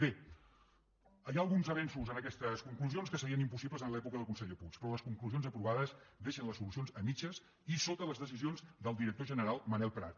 bé hi ha alguns avenços en aquestes conclusions que serien impossibles en l’època del conseller puig però les conclusions aprovades deixen les solucions a mitges i sota les decisions del director general manel prat